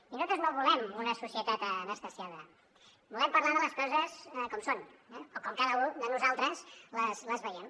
i nosaltres no volem una societat anestesiada volem parlar de les coses com són o com cada u de nosaltres les veiem